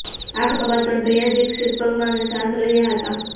આ ઘટના બાદ પણ ભૈયાજી સ્થિતપ્રજ્ઞ અને શાંત રહ્યા હતા